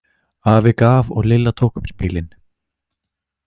Afi gaf og Lilla tók upp spilin.